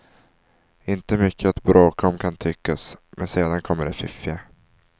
Inte mycket att bråka om kan tyckas, men sedan kommer det fiffiga.